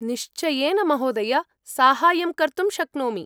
निश्चयेन महोदय, साहाय्यं कर्तुं शक्नोमि।